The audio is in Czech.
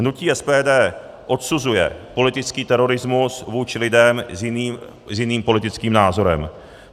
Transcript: Hnutí SPD odsuzuje politický terorismus vůči lidem s jiným politickým názorem.